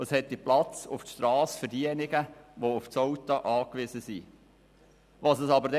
Zudem hätte es auf der Strasse Platz für diejenigen, die auf das Auto angewiesen sind.